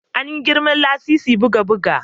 An yi girman lasisin buga bugu